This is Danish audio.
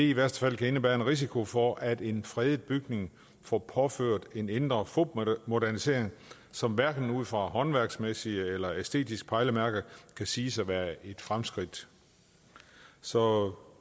i værste fald kan indebære en risiko for at en fredet bygning får påført en indre fupmodernisering som hverken ud fra håndværksmæssige eller æstetiske pejlemærker kan siges at være et fremskridt så